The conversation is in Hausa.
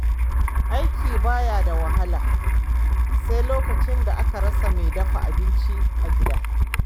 Aiki ba ya da wahala sai lokacin da aka rasa mai dafa abinci a gida.